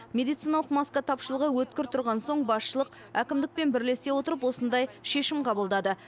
медициналық маска тапшылығы өткір тұрған соң басшылық әкімдікпен бірлесе отырып осындай шешім қабылдады